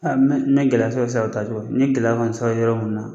N mɛ gɛlɛya sɔrɔ salon ta cogo , n ye gɛlɛya kɔni sɔrɔ yɔrɔ min na